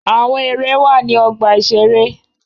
Àwọn Ère wà ní ọgbà-ìṣeré